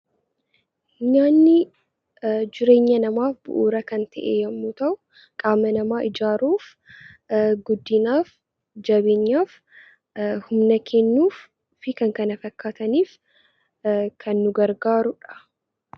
Nyaanni bu'uura jireenya namaaf bu'uura kan ta'e yommuu ta'u, qaama namaa ijaaruuf guddinaaf jabeenyaaf, humna kennuu fi kan kana fakkaataniif kan nu gargaarudha.